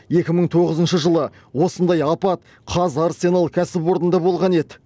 екі мың тоғызыншы жылы осындай апат қазарсенал кәсіпорында болған еді